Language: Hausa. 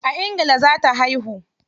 A ingila za ta haihu.